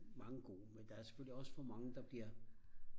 mange gode men der er selvølgelig også for mange der bliver